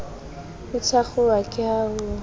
e thakgoha ke ha ho